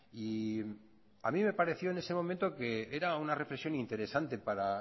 y a mí me pareció en ese momento que era una reflexión interesante para